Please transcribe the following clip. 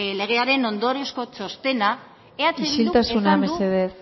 legearen ondoriozko txostena isiltasuna mesedez